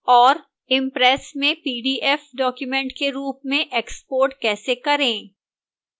impress में pdf document के रूप में export कैसे करें